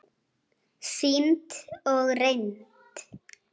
Sýnd og reynd.